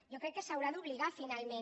jo crec que s’haurà d’obligar finalment